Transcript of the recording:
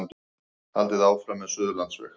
Haldið áfram með Suðurlandsveg